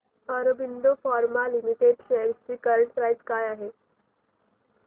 Aurobindo Pharma Limited shares ची current price काय आहे